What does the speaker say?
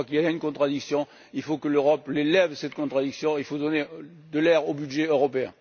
Je crois qu'il y a là une contradiction, il faut que l'Europe lève cette contradiction, il faut donner de l'air au budget européen.